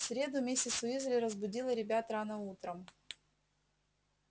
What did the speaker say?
в среду миссис уизли разбудила ребят рано утром